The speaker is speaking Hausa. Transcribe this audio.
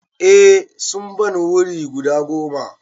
Eh sun ban wuri guda goma.